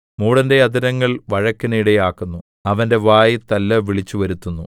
മൂഢന്റെ അധരങ്ങൾ വഴക്കിന് ഇടയാക്കുന്നു അവന്റെ വായ് തല്ല് വിളിച്ചുവരുത്തുന്നു